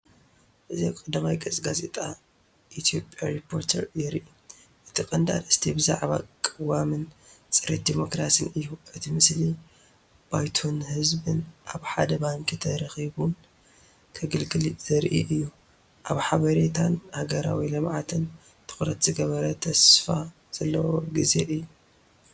እዚ ኣብ ቀዳማይ ገጽ ጋዜጣ ኢትዮጵያ ሪፖርተር የርኢ። እቲ ቀንዲ ኣርእስቲ ብዛዕባ ቅዋምን ጽሬት ዲሞክራስን እዩ። እቲ ምስሊ ባይቶን ህዝብን ኣብ ሓደ ባንኪ ተራኺቡን ከገልግልን ዘርኢ እዩ። ኣብ ሓበሬታን ሃገራዊ ልምዓትን ትኹረት ዝገበረ ተስፋ ዘለዎ ግዜ እዩ።